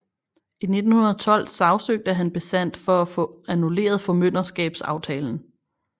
I 1912 sagsøgte han Besant for at få annulleret formynderskabsaftalen